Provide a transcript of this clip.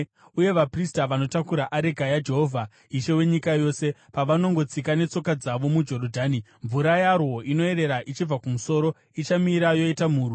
Uye vaprista vanotakura areka yaJehovha, Ishe wenyika yose, pavanongotsika netsoka dzavo muJorodhani, mvura yarwo inoerera ichibva kumusoro ichamira yoita murwi.”